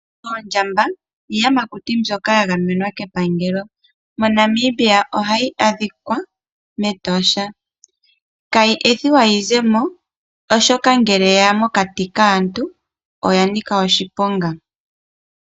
Oondjamba iiyamakuti mbyoka ya gamenwa kepangelo mo Namibia ohayi adhikwa metosha kayi ethiwa yizemo oshoka ngele yeya mokati kaantu oya nika oshiponga.